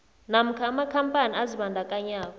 namkha amakhampani azibandakanye